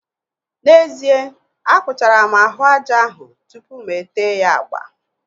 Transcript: N'ezie, akpụchara m ahụ aja ahụ tụpụ mụ ete ya agba